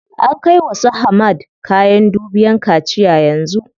An kai wa su Hamad kayan dubiyan kaciya yanzu.